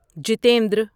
Jitendra